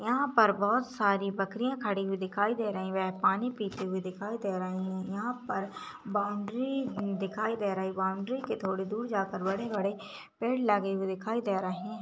यहाँ पर बोहत सारी बकरियाँ खड़ी हुई दिखाई दे रही हैं वे पानी पीती हुई दिखाई दे रही है यहाँ पर बाउंड्री दिखाई दे रही बाउंड्री के थोड़े दूर जाकर बड़े -बड़े पेड़ लगे दिखाई दे रहे हैं।